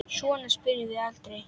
Svona spyrjum við aldrei.